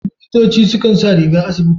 Likitoci su kan sa rigar asibiti.